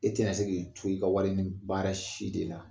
E tena se k'i to i ka warinin baara si de la